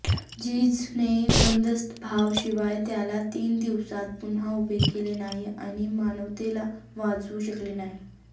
जिझसने वधस्तंभाशिवाय त्याला तीन दिवसांत पुन्हा उभे केले नाही आणि मानवतेला वाचवू शकले नाही